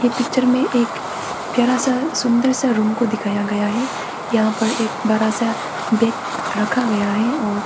picture में एक प्यारा सा सुंदर सा रूम को दिखाया गया है यहां पर एक बड़ा सा बेड रखा गया है और--